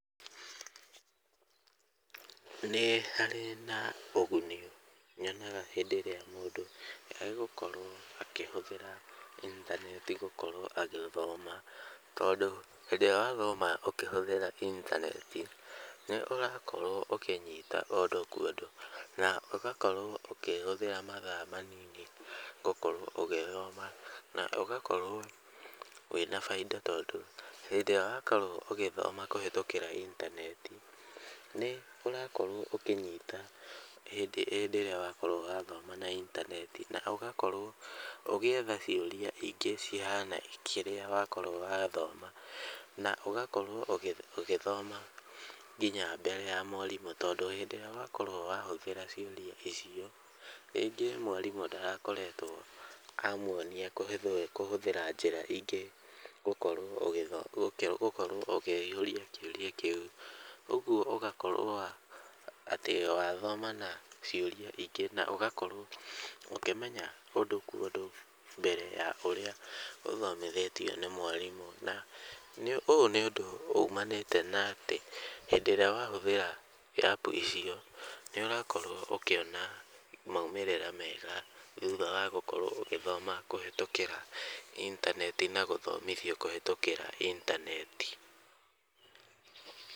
Nĩ harĩ na ũguni nyonaga hĩndĩ ĩrĩa mũndũ egũkorwo akĩhũthĩra intaneti gukorwo agithoma, tondũ hĩndĩa wathoma ũkĩhũthĩra intaneti, nĩ ũrakorwo ũkĩnyita ũndũ kwa ũndũ, na ũgakorwo ũkĩhũthĩra mathaa manini gũkorwo ũgĩthoma, na ũgakorwo wĩna bainda tondũ, hĩndĩa wakorwo ũgĩthoma kũhetũkĩra intaneti, nĩ ũrakorwo ũkĩnyita hĩndĩ hĩndĩ ĩrĩa wakorwo wathoma na intaneti, na ũgakorwo ũgĩetha ciũria ingĩ cihana kĩrĩa wakorwo wathoma, na ũgakorwo ugĩ ũgĩthoma nginya mbere ya mwarimũ, tondũ hĩndĩa wakorwo wahũthĩra ciũria icio, rĩngĩ mwarĩmũ ndarakoretwo amuonia kũhĩ kũhũthĩra njĩra ingĩ, gũkorwo ũgĩtho gũkorwo ũkĩihũrĩa kĩũria kĩu, ũguo ũgakorwo atĩ wathoma na ciũria ingĩ, na ũgakorwo ũkĩmenya ũndũ kwo ũndũ mbere ya ũrĩa ũthomithĩtio nĩ mwarimũ, na nĩ ũũ nĩ ũndũ umanĩte na atĩ, hĩndĩ ĩrĩa wahũthĩra apu icio, nĩ ũrakorwo ũkĩona maimĩrĩra mega, thutha wa gũkorwo ũgĩthoma kũhetũkĩra intaneti na gũthomithio kũhetũkĩra intaneti.